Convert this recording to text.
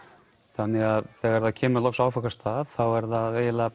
þannig þegar það kemur loks á áfangastað þá er það eiginlega